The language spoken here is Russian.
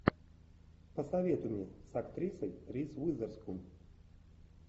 посоветуй мне с актрисой риз уизерспун